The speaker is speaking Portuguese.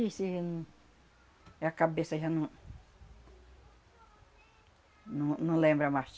Isso aí... Minha cabeça já não... Não, não lembra mais.